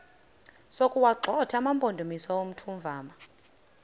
sokuwagxotha amampondomise omthonvama